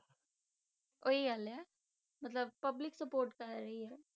ਉਹੀ ਗੱਲ ਹੈ ਮਤਲਬ public support ਕਰ ਰਹੀ ਹੈ।